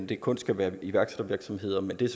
det kun skal være iværksættervirksomheder men det er